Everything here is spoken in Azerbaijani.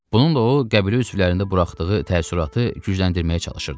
Bununla o, qəbilə üzvlərində buraxdığı təəssüratı gücləndirməyə çalışırdı.